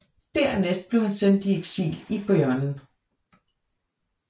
Dernæst blev han sendt i eksil i Beaune